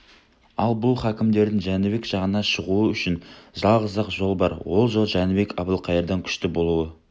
ал бұл хакімдердің жәнібек жағына шығуы үшін жалғыз-ақ жол бар ол жол жәнібек әбілқайырдан күшті болуы